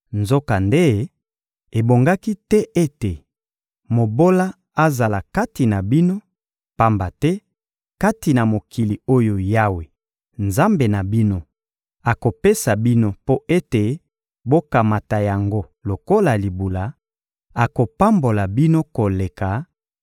Nzokande, ebongaki te ete mobola azala kati na bino; pamba te kati na mokili oyo Yawe, Nzambe na bino, akopesa bino mpo ete bokamata yango lokola libula, akopambola bino koleka,